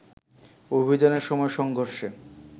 অভিযানের সময় সংঘর্ষে